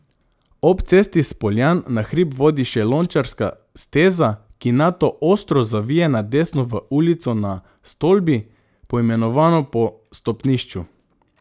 Ob cesti s Poljan na hrib vodi še Lončarska steza, ki nato ostro zavije na desno v ulico Na Stolbi, poimenovano po stopnišču.